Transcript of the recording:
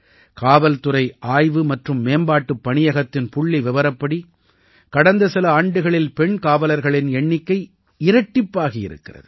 காவல்துறை ஆய்வு மற்றும் மேம்பாட்டுப் பணியகத்தின் புள்ளிவிவரப்படி கடந்த சில ஆண்டுகளில் பெண் காவலர்களின் எண்ணிக்கை இரட்டிப்பாகி இருக்கிறது